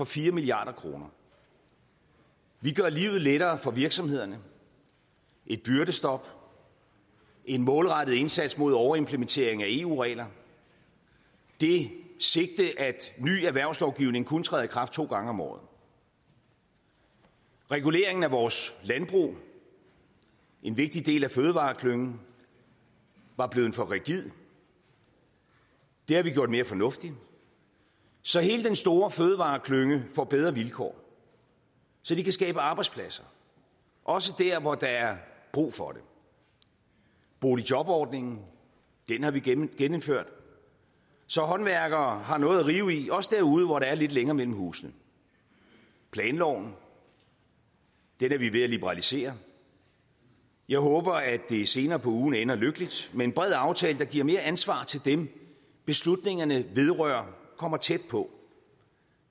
fire milliard kroner vi gør livet lettere for virksomhederne et byrdestop en målrettet indsats mod overimplementering af eu regler det sigte at ny erhvervslovgivning kun træder i kraft to gange om året reguleringen af vores landbrug en vigtig del af fødevareklyngen var blevet for rigid det har vi gjort mere fornuftigt så hele den store fødevareklynge får bedre vilkår så de kan skabe arbejdspladser også der hvor der er brug for det boligjobordningen har vi genindført så håndværkere har noget at rive i også derude hvor der er lidt længere mellem husene planloven er vi ved at liberalisere jeg håber at det senere på ugen ender lykkeligt med en bred aftale der giver mere ansvar til dem beslutningerne vedrører og kommer tæt på